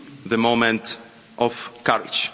of unity. The moment